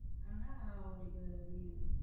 ஆனா உங்களுக்கு leave